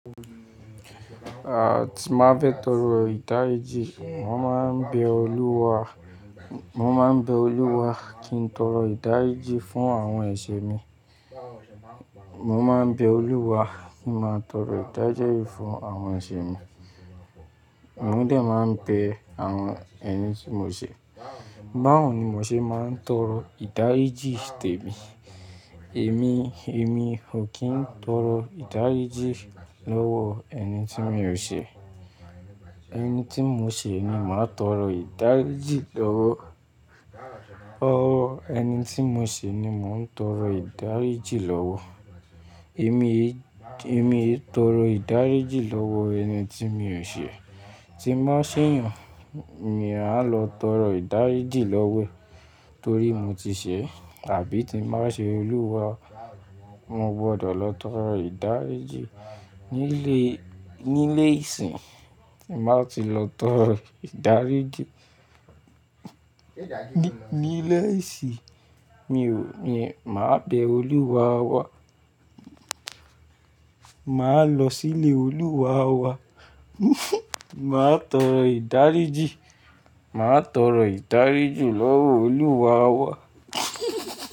Ah, tí m ba fẹ tọrọ ìdáríjì, mo máa ń bẹ Olúwa, mo máa ń bẹ Olúwa kí n tọrọ ìdáríjì fún àwọn ẹ̀ṣẹ̀ mi. Mo máa ń bẹ Olúwa kí n máa tọrọ ìdáríjì fún àwọn ẹ̀ṣẹ̀ mi. Mo dé máa ń bẹ àwọn ẹni tí mo ṣẹ. Báwo ni mo ṣe máa ń tọrọ ìdáríjì tèmi? Èmi, èmi ò kí ń tọrọ ìdáríjì lọ́wọ ẹni tí mi ò ṣẹ. Ẹni tí mo ṣe ni màá tọrọ ìdáríjì lọ́wọ́. Ọwọ ẹni tí mo ṣẹ ni mò ń tọrọ ìdáríjì lọ́wọ́. Èmi, èmi e tọrọ ìdáríjì lọ́wọ́ ẹni tí mi ò ṣe. Tí m ba ṣẹ'yàn, èmi máa lọ tọrọ ìdáríjì lọ́wọ́ ẹ̀ torí mo ti ṣe àbí tí m ba ṣẹ Olúwa, mo gbọdọ̀ lọ tọrọ ìdáríjì. Nílé, nílé ìsìn, màá ti lọ tọrọ ìdáríjì. Ní, nílé ìsìn, mi ò, mi máa bẹ Olúwa wá. Màá lọ sí ilé Olúwa wá. Màá tọrọ ìdáríjì, màá tọrọ ìdáríjì lọ́wọ́ Olúwa wá.